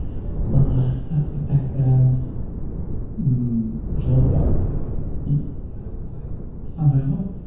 манағы ммм жалпы и андай ғой